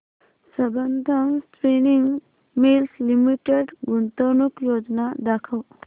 Sambandam spinning mills limited गुंतवणूक योजना दाखव